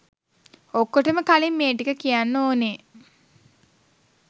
ඔක්කටම කලින් මේ ටික කියන්න ඕනේ